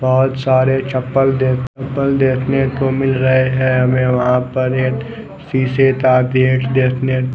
बोहोत सारे चप्पल देखने को मिल रहे है हमे वह पर एक --